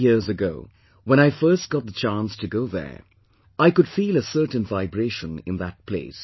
Many years ago, when I first got the chance to go there, I could feel a certain vibration in that place